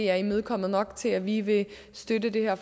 er imødekommet nok til at vi vil støtte det her